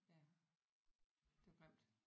Ja det var grimt